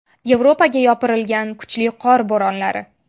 Yevropaga yopirilgan kuchli qor bo‘ronlari.